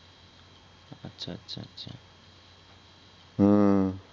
হু